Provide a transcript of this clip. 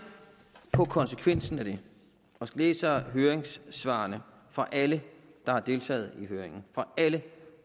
på konsekvensen af det og læser høringssvarene fra alle der har deltaget i høringen alle